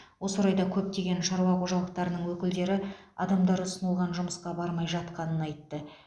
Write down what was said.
осы орайда көптеген шаруа қожалықтарының өкілдері адамдар ұсынылған жұмысқа бармай жатқанын айтты